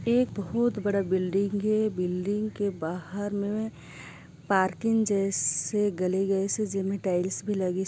एक बहुत बड़ा बिल्डिंग हे बिल्डिंग के बाहर मे पार्किंग जैसे गली-गली जैसे जिमे टाइल्स लगिस--